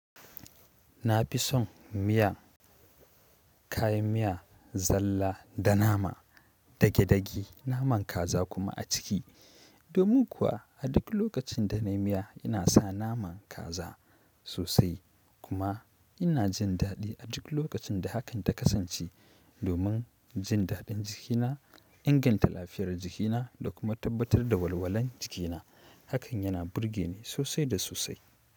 Na fi son miya, kayan miya, zalla da nama dage-dage naman kaza kuma a ciki. Domin kuwa a duk lokacin da nayi miya ina sa naman kaza sosai kuma ina jin daɗi a duk lokacin da hakan ta kasance. Domin jin daɗin jikina, inganta lafiyar jikina da kuma tabbatar da walwalan jikina. Hakan yana burge ni sosai da sosai.